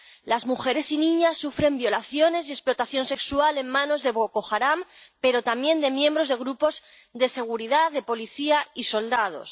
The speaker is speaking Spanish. Las mujeres y niñas sufren violaciones y explotación sexual en manos de Boko Haram, pero también de miembros de grupos de seguridad, de policía y soldados.